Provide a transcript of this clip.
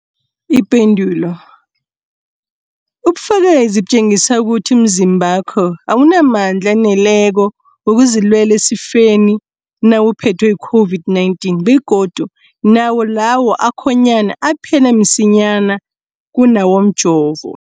Ipendulo, ubufakazi butjengisa ukuthi umzimbakho awunamandla aneleko wokuzilwela esifeni nawuphethwe yi-COVID-19, begodu nawo lawo akhonyana aphela msinyana kunawomjovo.